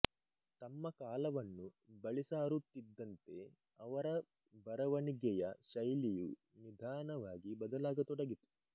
ತಮ್ಮ ಕಾಲವನ್ನು ಬಳಿಸಾರುತ್ತಿದ್ದಂತೆ ಅವರ ಬರವಣಿಗೆಯ ಶೈಲಿಯು ನಿಧಾನವಾಗಿ ಬದಲಾಗತೊಡಗಿತು